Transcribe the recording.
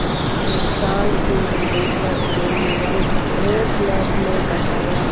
संस्थान के निदेशक डैनियल फेस्लर ने बताया